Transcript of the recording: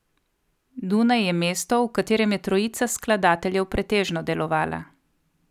Dunaj je mesto, v katerem je trojica skladateljev pretežno delovala.